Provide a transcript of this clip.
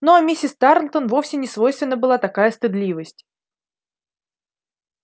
ну а миссис тарлтон вовсе не свойственна была такая стыдливость